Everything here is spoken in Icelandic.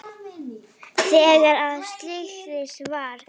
Þegar að slysið varð?